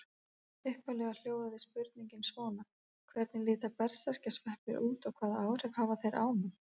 Upphaflega hljóðaði spurningin svona: Hvernig líta berserkjasveppir út og hvaða áhrif hafa þeir á mann?